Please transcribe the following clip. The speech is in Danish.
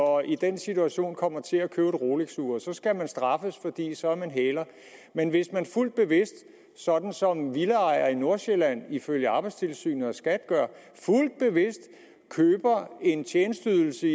og i den situation kommer til at købe et rolexur så skal man straffes for så er man hæler men hvis man fuldt bevidst sådan som villaejere i nordsjælland ifølge arbejdstilsynet og skat gør køber en tjenesteydelse